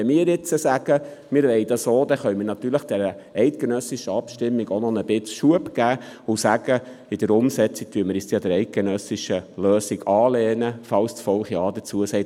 Wenn wir jetzt sagen, wir wollten diese auch, dann könnten wir der eidgenössischen Abstimmung ein Stück weit Schub verleihen, wobei wir sagen würden, dass wir uns bei der Umsetzung an die eidgenössische Lösung anlehnten, sollte das Volk Ja dazu sagen.